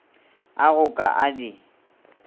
a go ka a di